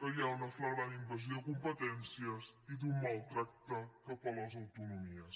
que hi ha una fla·grant invasió de competències i un mal tractament cap a les autonomies